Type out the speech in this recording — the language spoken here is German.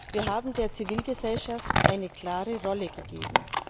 Wir haben der Zivilgesellschaft eine klare Rolle gegeben.